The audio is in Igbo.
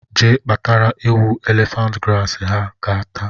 Jee kpatara ewu elephant grass ha ga-ata